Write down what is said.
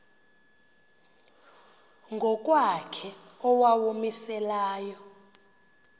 ngokwakhe owawumise layo